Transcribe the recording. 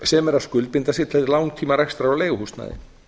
sem eru að skuldbinda sig til langtíma rekstrar á leiguhúsnæði